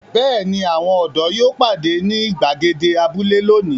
Bẹ́ẹ̀ ni, àwọn ọ̀dọ́ yóò pàdé ní ìgbàgede abúlé lónìí.